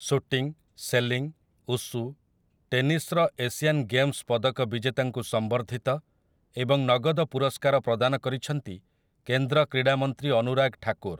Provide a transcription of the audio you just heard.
Shooting, sailing, wushu, ଟେନିସ୍‌ର Asian Games ପଦକ ବିଜେତାଙ୍କୁ ସମ୍ବର୍ଦ୍ଧିତ ଏବଂ ନଗଦ ପୁରସ୍କାର ପ୍ରଦାନ କରିଛନ୍ତି କେନ୍ଦ୍ର କ୍ରୀଡ଼ା ମନ୍ତ୍ରୀ ଅନୁରାଗ୍ ଠାକୁର୍ ।